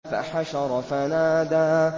فَحَشَرَ فَنَادَىٰ